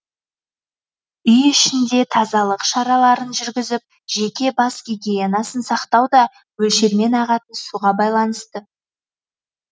үй ішінде тазалық шараларын жүргізіп жеке бас гигиенасын сақтау да мөлшермен ағатын суға байланысты